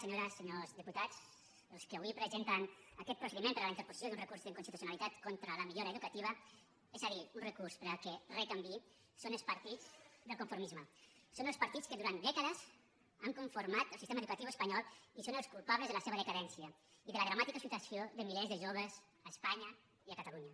senyores senyors diputats els qui avui presenten aquest procediment per a la interposició d’un recurs d’inconstitucionalitat contra la millora educativa és a dir un recurs perquè re canviï són els partits del conformisme són els partits que durant dècades han conformat el sistema educatiu espanyol i són els culpables de la seva decadència i de la dramàtica situació de milers de joves a espanya i a catalunya